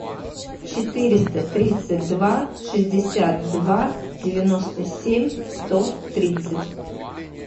четыреста тридцать два шестьдесят два девяносто семь сто тридцать